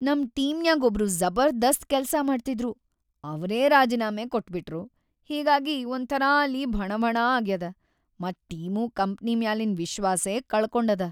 ನಮ್‌ ಟೀಮ್ನ್ಯಾಗ್ ಒಬ್ರು ಜಬರ್ದಸ್ತ್ ಕೆಲ್ಸಾ ಮಾಡ್ತಿದ್ರು, ಅವ್ರೇ ರಾಜೀನಾಮೆ ಕೊಟ್ಬಿಟ್ರು, ಹಿಂಗಾಗಿ ಒಂಥರಾ ಅಲ್ಲಿ ಭಣಭಣ ಆಗ್ಯಾದ ಮತ್‌ ಟೀಮೂ ಕಂಪನಿ ಮ್ಯಾಲಿನ್ ವಿಶ್ವಾಸೇ ಕಳಕೊಂಡದ.